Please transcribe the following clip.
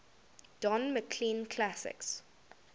don mclean classics